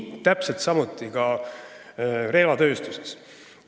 Täpselt samuti on relvatööstusega.